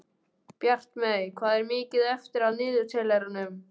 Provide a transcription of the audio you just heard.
Bjartmey, hvað er mikið eftir af niðurteljaranum?